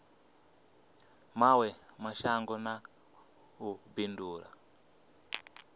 mawe mashango na u bindula